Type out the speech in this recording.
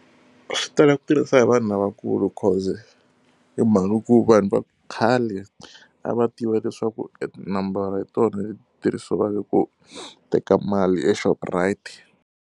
Swi tala ku tirhisa hi vanhu lavakulu because hi mhaka ku vanhu va khale a va tiva leswaku nambara hi tona leti tirhisiwaka ku teka mali eShoprite.